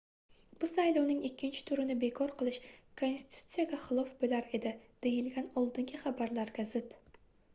bu saylovning ikkinchi turini bekor qilish konstitutsiyaga xilof boʻlar edi deyilgan oldingi xabarlarga zid